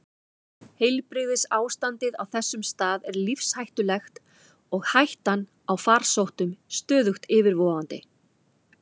Heilbrigðisástandið á þessum stað er lífshættulegt og hættan á farsóttum stöðugt yfirvofandi.